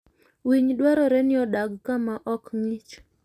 Winy dwarore ni odag kama ok ng'ich.